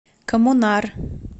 коммунар